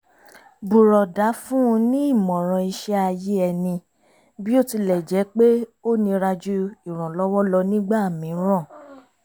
bùrọ̀dá fún un ní ìmọ̀ràn iṣẹ́ ayé ẹni bí ó tilẹ̀ jẹ́ pé ó nira ju ìrànlọ́wọ́ lọ nígbà mìíràn